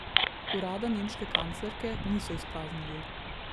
Urada nemške kanclerke niso izpraznili.